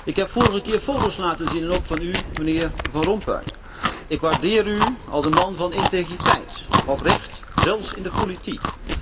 Ik heb vorige keer foto's laten zien, ook van u, mijnheer Van Rompuy. Ik waardeer u als een man van integriteit, oprecht, zelfs in de politiek.